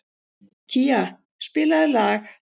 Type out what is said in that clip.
Kía, spilaðu lag.